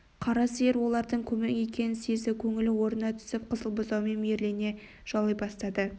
қара сиыр олардың көмек екенін сезді көңілі орнына түсіп қызыл бұзауын мейірлене жалай бастады